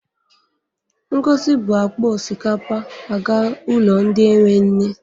Ngozi bu akpa osikapa aga ụlọ ndị enwe nne.